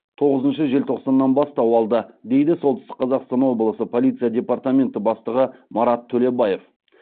тоғызыншы желтоқсаннан бастау алды дейді солтүстік қазақстан облысы полиция департаменті бастығы марат төлебаев